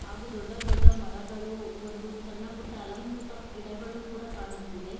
ಹಾಗೂ ದೊಡ್ಡ ದೊಡ್ಡ ಮರಗಳು ಒಂದು ಸಣ್ಣಪುಟ್ಟ ಅಲಂಕೃತ ಗಿಡಗಳು ಕೂಡ ಕಾಣುತ್ತಿದೆ.